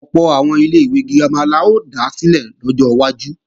Ọ̀pọ̀ àwọn ilé-ìwé girama la ó dá sílẹ̀ lọ́jọ́ iwájú